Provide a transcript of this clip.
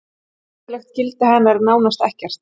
Fræðilegt gildi hennar er nánast ekkert.